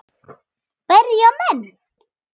Berja menn.?